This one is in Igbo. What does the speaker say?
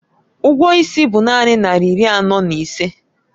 Ụgwọ is bụ naanị naira iri anọ na ise